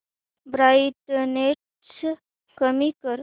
brightness कमी कर